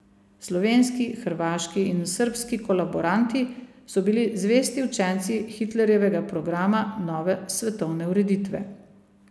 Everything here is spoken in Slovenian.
Slovenski, hrvaški in srbski kolaboranti so bili zvesti učenci Hitlerjevega programa nove svetovne ureditve.